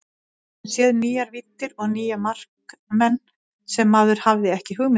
Við höfum séð nýjar víddir og nýja markmenn sem maður hafði ekki hugmynd um.